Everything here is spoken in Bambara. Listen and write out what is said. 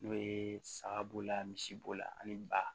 N'o ye saga b'o la misi bo la ani ba